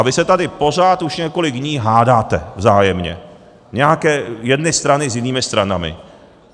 A vy se tady pořád už několik dní hádáte, vzájemně, nějaké jedny strany s jinými stranami.